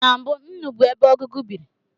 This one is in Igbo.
Na mbụ, nnu bụ ebe ọgụgụ biri